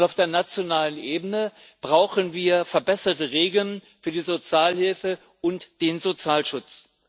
Und auf der nationalen Ebene brauchen wir verbesserte Regeln für die Sozialhilfe und den Sozialschutz.